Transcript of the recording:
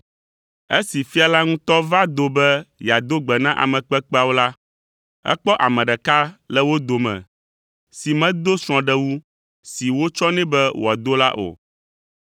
Esi fia la ŋutɔ va do be yeado gbe na ame kpekpeawo la, ekpɔ ame ɖeka le wo dome si medo srɔ̃ɖewu si wotsɔ nɛ be wòado la o.